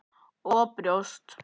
Og brjóst.